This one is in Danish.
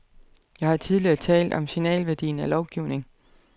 Jeg har tidligere talt om signalværdien af lovgivning.